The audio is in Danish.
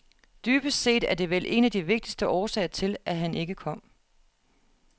Dybest set er det vel en af de vigtigste årsager til, at han ikke kom.